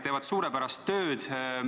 Nad teevad suurepärast tööd.